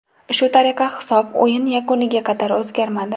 Shu tariqa hisob o‘yin yakuniga qadar o‘zgarmadi.